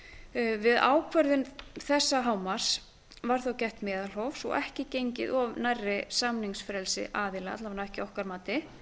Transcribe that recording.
við ákvörðun þessa hámarks var þó gætt meðalhófs og ekki gengið of nærri samningsfrelsi aðila alla vega ekki að okkar mati